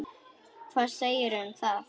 Hvað segirðu um það?